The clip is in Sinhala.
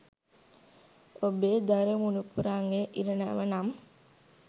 ඔබේ දරු මුණුපුරන්ගේ ඉරණම නම්